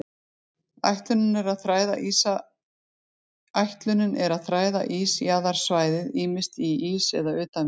Ætlunin er að þræða ísjaðarsvæðið, ýmist í ís eða utan við hann.